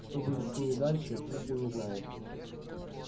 что будет с ними дальше пришвин не знает